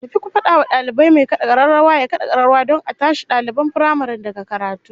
Tafi ku fada wa dalibai mai kad'a kararrawa ya kada kararrawa don a tashi daliban firamaren daga karatu